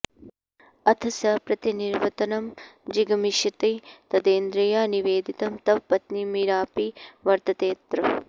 अथ स प्रतिनिवर्तनं जिगमिषति तदेन्द्रिया निवेदितं तव पत्नी मीरापि वर्ततेऽत्र